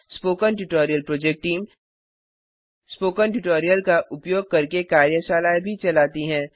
spoken tutorial project team spoken tutorial का उपयोग करके कार्यशालाएँ भी चलाती है